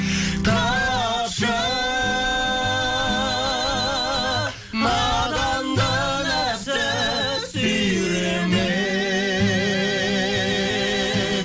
тапшы наданды нәпсі сүйремек